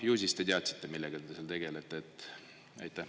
Ju siis te teadsite, millega te seal tegelete?